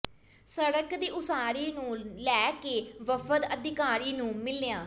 ਸੜਕ ਦੀ ਉਸਾਰੀ ਨੰੂ ਲੈ ਕੇ ਵਫ਼ਦ ਅਧਿਕਾਰੀ ਨੰੂ ਮਿਲਿਆ